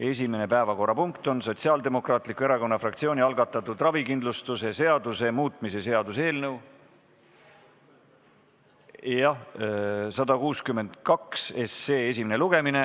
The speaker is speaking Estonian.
Esimene päevakorrapunkt on Sotsiaaldemokraatliku Erakonna fraktsiooni algatatud ravikindlustuse seaduse muutmise seaduse eelnõu 162 esimene lugemine.